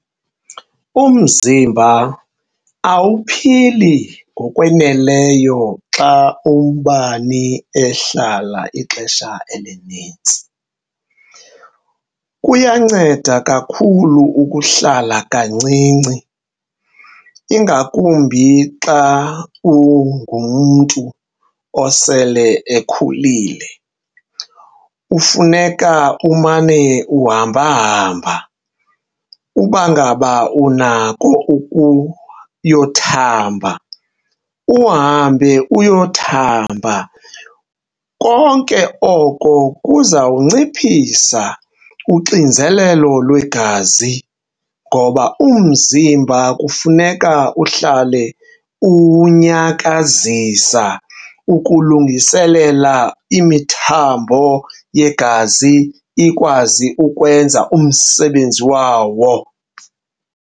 Umzimba awuphili ngokwaneleyo xa ubani ehlala ixesha elinintsi. Kuyanceda kakhulu ukuhlala kancinci, ingakumbi xa ungumntu osele ekhulile. Kufuneka umane uhambahamba, uba ngaba unako ukuyokuthamba uhambe uyothamba. Konke oko kuzawunciphisa uxinzelelo lwegazi ngoba umzimba kufuneka uhlale uwunyakazisa ukulungiselela imithambo yegazi ikwazi ukwenza umsebenzi wawo.